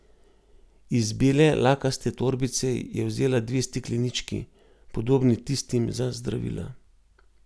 Iz bele lakaste torbice je vzela dve steklenički, podobni tistim za zdravila.